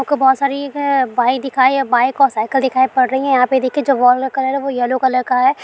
आपको बहुत सारी एक अ बाइक दिखाई या बाइक और साईकिल दिखाई पड़ रही है यहाँ पे देखिये जो वॉल का कलर है वो येलो कलर का है।